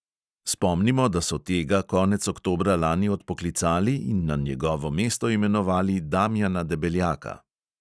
Spomnimo, da so tega konec oktobra lani odpoklicali in na njegovo mesto imenovali damjana debeljaka.